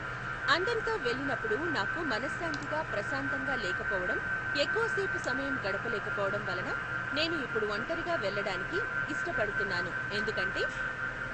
అందరితో వెళ్ళినప్పుడు నాకు మనశాంతిగా ప్రశాంతంగా లేకపోవటం ఎక్కువసేపు సమయం గడపలేకపోవటం వలన నేను ఇప్పుడు ఒంటరిగా వెళ్లటానికి ఇష్టపడుతున్నాను ఎందుకంటే